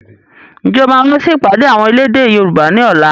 Ǹjẹ́ o máa wà sì ìpàdé àwọn elédè Yorùbá ni ọ̀la?